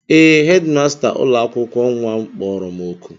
Ee, hedịmasta ụlọakwụkwọ nnwa m kpọrọ m oku